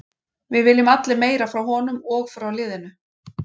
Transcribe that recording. Við viljum allir meira frá honum og frá liðinu.